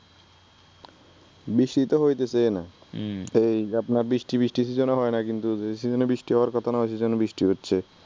বৃষ্টি তো হইতেসেই না হুম এই আপনার বৃষ্টি বৃষ্টির সিজনে হয় না কিন্তু যে সিজনে বৃষ্টি হওয়ার কথা না সে সিজনে বৃষ্টি হচ্ছে